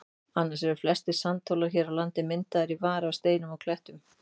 Annars eru flestir sandhólar hér á landi myndaðir í vari af steinum og klettum.